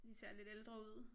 De ser lidt ældre ud